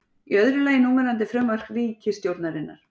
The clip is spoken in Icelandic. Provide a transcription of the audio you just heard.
Í öðru lagi núverandi frumvarp ríkisstjórnarinnar